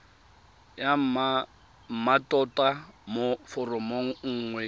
ya mmatota mo foromong nngwe